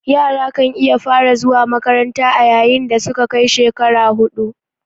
Yara kan iya fara zuwa makanranta a yayin dasuka kai shekara hudu